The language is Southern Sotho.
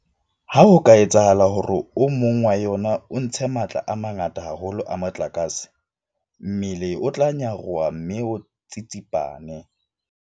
Ha ho ka etsahala hore o mong wa yona o ntshe matla a mangata haholo a motlakase, mmele o tla nyaroha mme o tsitsipane.